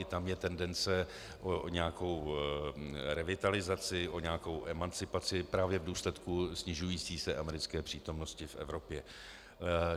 I tam je tendence o nějakou revitalizaci, o nějakou emancipaci právě v důsledku snižující se americké přítomnosti v Evropě.